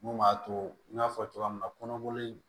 Mun b'a to n y'a fɔ cogoya min na kɔnɔboli